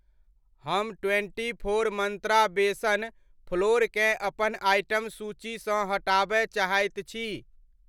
हम twenty four Mantra besan फ्लोरकेँ अपन आइटम सूचीसँ हटाबय चाहैत छी।